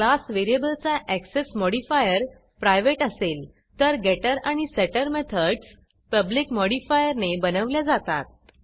class व्हेरिएबलचा access modifier private असेल तर गेटर आणि सेटर मेथडस पब्लिक मॉडिफायरने बनवल्या जातात